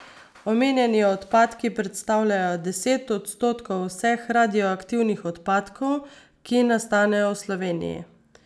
Omenjeni odpadki predstavljajo deset odstotkov vseh radioaktivnih odpadkov, ki nastanejo v Sloveniji.